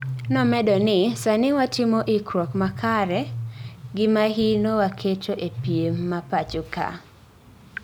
Nomedo ni, "Sadi watimo ikruok makare and mahino waketo ee piem ma pacho kae